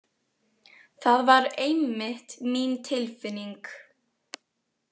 Það var einmitt mín tilfinning.